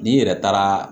N'i yɛrɛ taara